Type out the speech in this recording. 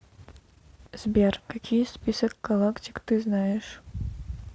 сбер какие список галактик ты знаешь